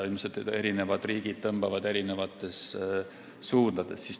Ilmselt tõmbavad eri riigid eri suundadesse.